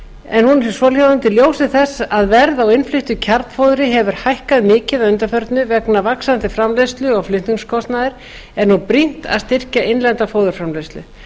en hún er svohljóðandi í ljósi þess að verð á innfluttu kjarnfóðri hefur hækkað mikið að undanförnu vegna vaxandi framleiðslu og flutningskostnaðar er nú brýnt að styrkja innlenda fóðurframleiðslu